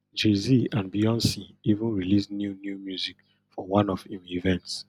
jayz and beyonc even release new new music for one of im events